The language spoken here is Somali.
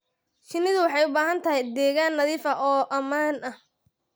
Shinnidu waxay u baahan tahay deegaan nadiif ah oo ammaan ah.